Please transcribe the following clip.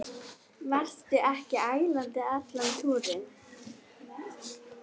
Varstu ekki ælandi allan túrinn?